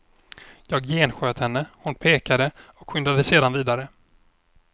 Jag gensköt henne, hon pekade och skyndade sedan vidare.